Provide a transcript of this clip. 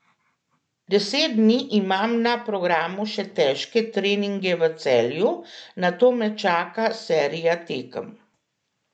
Deset dni imam na programu še težke treninge v Celju, nato me čaka serija tekem.